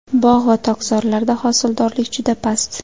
Bog‘ va tokzorlarda hosildorlik juda past.